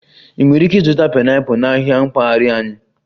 Ị nwere ike ịzụta pineapple na ahịa mpaghara anyị